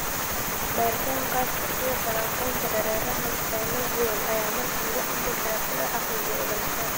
Baadhitaan khaas ah, sida falanqaynta dareeraha synovial, ayaa markaa lagu amri karaa si loo xaqiijiyo ogaanshaha.